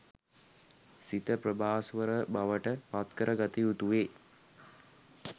සිත ප්‍රභාස්වර බවට පත්කර ගත යුතු වේ.